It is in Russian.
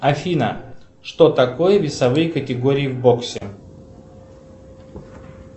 афина что такое весовые категории в боксе